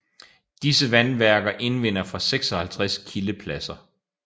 Disse vandværker indvinder fra 56 kildepladser